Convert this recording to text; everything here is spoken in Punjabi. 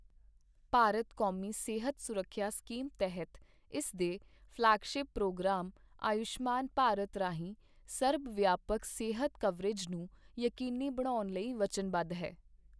ਭਾਰਤ ਕੌਮੀ ਸਿਹਤ ਸੁਰੱਖਿਆ ਸਕੀਮ ਤਹਿਤ ਇਸ ਦੇ ਫਲੈਗਸਿ਼ੱਪ ਪ੍ਰੋਗਰਾਮ ਆਯੁਸ਼ਮਾਨ ਭਾਰਤ ਰਾਹੀਂ ਸਰਬਵਿਆਪਕ ਸਿਹਤ ਕਵਰੇਜ ਨੂੰ ਯਕੀਨੀ ਬਣਾਉਣ ਲਈ ਵਚਨਬੱਧ ਹੈ।